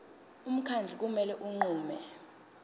umkhandlu kumele unqume